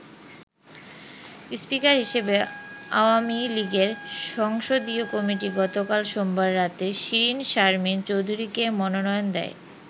Speaker হিসেবে আওয়ামী লীগের সংসদীয় কমিটি গতকাল সোমবার রাতে শিরীন শারমিন চৌধুরীকে মনোনয়ন দেয়।